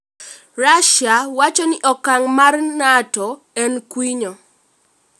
Russia wacho ni okang' no mar Nato en kwinyo